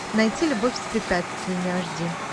найти любовь с препятствиями аш ди